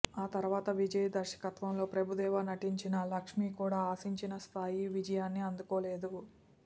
ఆ తరువాత విజయ్ దర్శకత్వంలో ప్రభుదేవా నటించిన లక్ష్మి కూడా ఆశించిన స్థాయి విజయాన్ని అందుకోలేదు